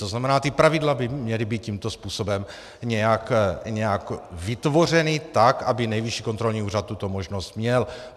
To znamená, ta pravidla by měla být tímto způsobem nějak vytvořena tak, aby Nejvyšší kontrolní úřad tuto možnost měl.